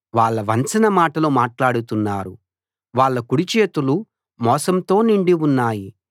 వాళ్ళు వంచన మాటలు మాట్లాడుతున్నారు వాళ్ళ కుడిచేతులు మోసంతో నిండి ఉన్నాయి